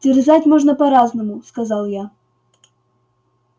терзать можно по-разному сказал я